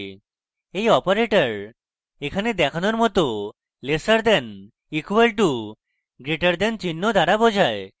এই operator এখানে দেখানোর মত lesser দেন equal to greater দেন চিহ্ন দ্বারা বোঝায়